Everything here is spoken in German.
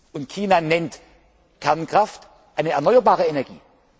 wird. Und China nennt Kernkraft eine erneuerbare Energie.